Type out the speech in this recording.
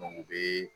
u bɛ